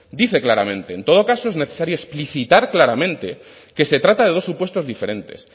dice claramente en todo caso es necesario explicitar claramente que se trata de dos supuestos diferentes